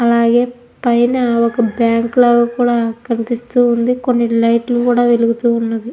అలాగే పైన ఒక బ్యాంకు లాగా కూడా కనిపిస్తూ ఉంది కొన్ని లైట్లు కూడా వెలుగుతూ ఉన్నవి.